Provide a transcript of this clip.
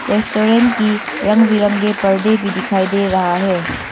Restaurant की रंग बिरंगे पर्दे भी दिखाई दे रहा है।